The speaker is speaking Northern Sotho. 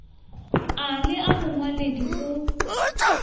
a le a bongwaledi o